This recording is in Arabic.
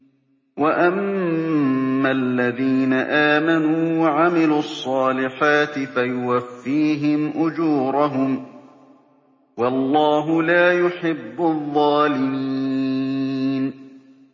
وَأَمَّا الَّذِينَ آمَنُوا وَعَمِلُوا الصَّالِحَاتِ فَيُوَفِّيهِمْ أُجُورَهُمْ ۗ وَاللَّهُ لَا يُحِبُّ الظَّالِمِينَ